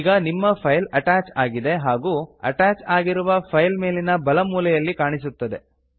ಈಗ ನಿಮ್ಮ file attach ಆಗಿದೆ ಹಾಗು ಅಟ್ಯಾಚ್ ಆಗಿರುವ ಫೈಲ್ ಮೇಲಿನ ಬಲ ಮೂಲೆಯಲ್ಲಿ ಕಾಣಿಸುತ್ತಿದೆ